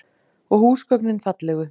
Og húsgögnin fallegu.